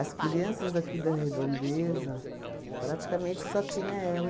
As crianças aqui da redondeza, praticamente só tinha ela.